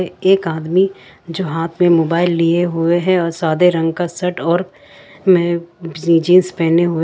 एक आदमी जो हाथ में मोबाइल लिए हुए हैं और सादे रंग का सेट और मे जींस पहने हुए--